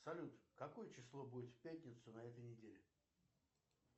салют какое число будет в пятницу на этой неделе